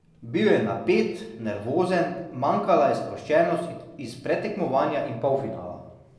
Bil je napet, nervozen, manjkala je sproščenost iz predtekmovanja in polfinala.